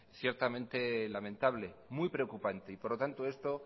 ciertamente lamentable muy preocupante y por lo tanto esto